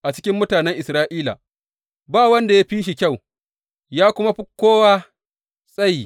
A cikin mutanen Isra’ila ba wanda ya fi shi kyau, ya kuma fi kowa tsaye.